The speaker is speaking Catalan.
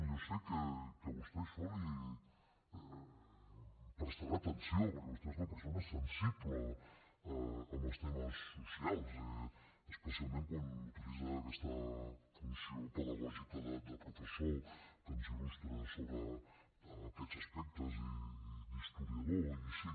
jo sé que vostè a això li prestarà atenció perquè vostè és una persona sensible amb els temes socials especialment quan utilitza aquesta funció pedagògica de professor que ens il·lustra sobre aquests aspectes i d’historiador i així